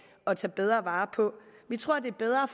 at tage bedre vare på vi tror at det er bedre